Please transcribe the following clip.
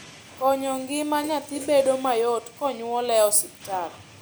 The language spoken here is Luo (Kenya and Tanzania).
konyo gima nyathi bedo mayot konyuole e hospital